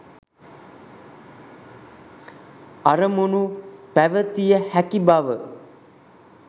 අරමුණු පැවතිය හැකි බව